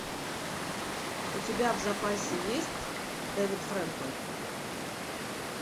у тебя в запасе есть девид френкел